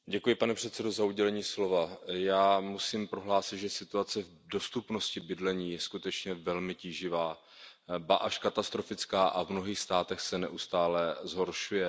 Pane předsedající, já musím prohlásit, že situace v dostupnosti bydlení je skutečně velmi tíživá, ba až katastrofická a v mnohých státech se neustále zhoršuje.